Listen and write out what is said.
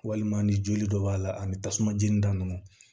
Walima ni joli dɔ b'a la ani tasuma jeni da nunnu